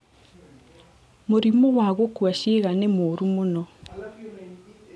mũrimũ wa gukua ciĩga nĩ mũũru mũno